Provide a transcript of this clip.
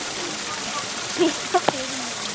Spila fyrir mig?